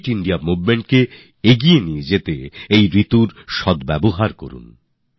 fit India Momentকে এগিয়ে নিয়ে যেতে এই মরশুমের পূর্ণ সুযোগ নিন